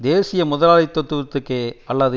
தேசிய முதலாளித்துவத்திற்கோ அல்லது